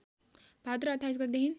भाद्र २८ गतेदेखि